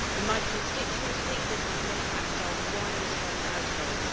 In my constituency this has an impact on one in ten households.